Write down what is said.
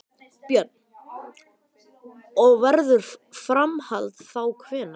Björn: Og verður framhald þá hvenær?